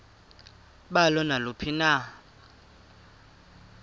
balo naluphi na